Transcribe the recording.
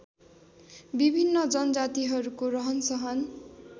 विभिन्न जनजातिहरूको रहनसहन